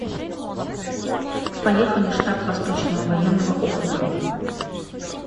поехали штаб восточного военного округа